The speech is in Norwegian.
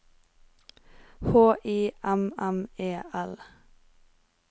H I M M E L